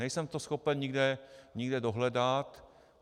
Nejsem to schopen nikde dohledat.